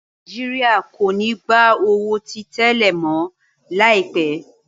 Nàìjíríà kò ní gbà owo tí tẹlẹ mọ. laipe.